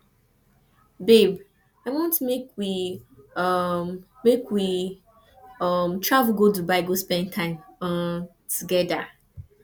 babe i want make we um make we um travel go dubai go spend time um togeda